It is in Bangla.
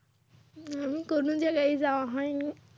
উম কোনো জায়গায় যাওয়া হয়নি।